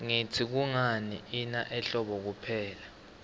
ngluitsi kungani ina ehlobo kuphela